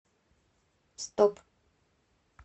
стоп